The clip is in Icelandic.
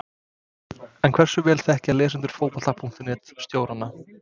En hversu vel þekkja lesendur Fótbolta.net stjórana?